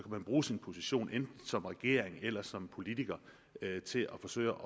man bruge sin position enten som regering eller som politiker til at forsøge